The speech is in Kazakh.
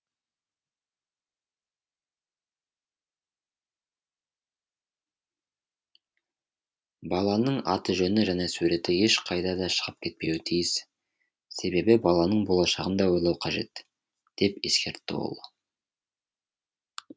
баланың аты жөні және суреті ешқайда да шығып кетпеуі тиіс себебі баланың болашағын да ойлау қажет деп ескертті ол